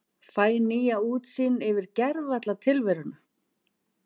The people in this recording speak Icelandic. Fæ nýja útsýn yfir gervalla tilveruna.